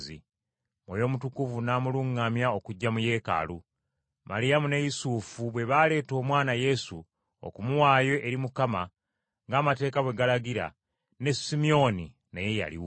Mwoyo Mutukuvu n’amuluŋŋamya okujja mu Yeekaalu. Maliyamu ne Yusufu bwe baaleeta Omwana Yesu okumuwaayo eri Mukama ng’amateeka bwe galagira, ne Simyoni naye yaliwo.